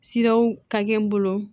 Siraw ka gɛlɛn n bolo